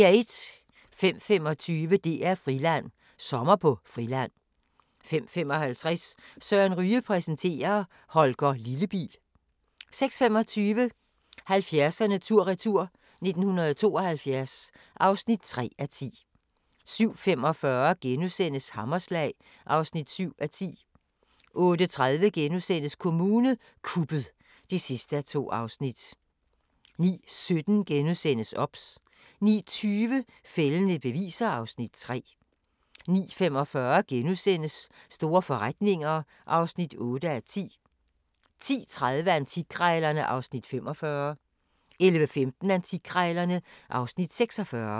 05:25: DR-Friland: Sommer på Friland 05:55: Søren Ryge præsenterer: Holger Lillebil 06:25: 70'erne tur-retur: 1972 (3:10) 07:45: Hammerslag (7:10)* 08:30: Kommune kuppet (2:2)* 09:17: OBS * 09:20: Fældende beviser (Afs. 3) 09:45: Store forretninger (8:10)* 10:30: Antikkrejlerne (Afs. 45) 11:15: Antikkrejlerne (Afs. 46)